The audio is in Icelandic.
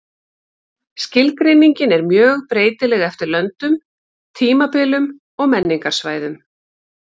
Skilgreiningin er mjög breytileg eftir löndum, tímabilum og menningarsvæðum.